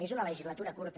és una legislatura curta